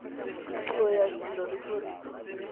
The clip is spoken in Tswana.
puo ya kilo le tlhoriso